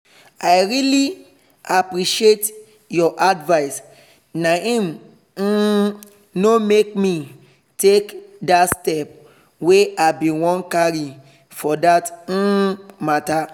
i really appreciate your advice naim um no make me take that step wey i bin wan carry for that um matter